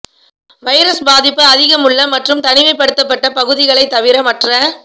virus பாதிப்பு அதிகம் உள்ள மற்றும் தனிமைப்படுத்தப்பட்ட பகுதிகளை தவிர மற்ற